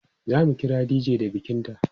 e zamu kira dj da bikin ta